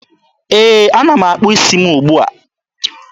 Ee, ana m akpụ isi m ugbua.